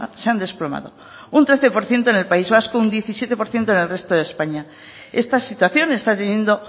se han desplomado un trece por ciento en el país vasco un diecisiete por ciento en el resto de españa esta situación está teniendo